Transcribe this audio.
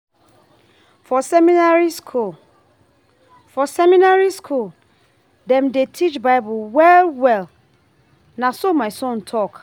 For seminary skool, For seminary skool, dem dey teach BIble well-well, na so my son tok.